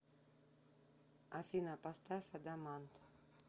афина поставь адамант